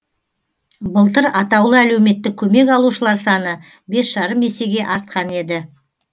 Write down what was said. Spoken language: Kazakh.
былтыр атаулы әлеуметтік көмек алушылар саны бес жарым есеге артқан еді